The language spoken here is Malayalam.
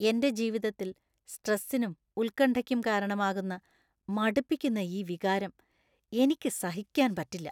എന്‍റെ ജീവിതത്തിൽ സ്‌ട്രെസിനും ഉത്കണ്ഠയ്ക്കും കാരണമാകുന്ന മടുപ്പിക്കുന്ന ഈ വികാരം എനിക്ക് സഹിക്കാൻ പറ്റില്ല.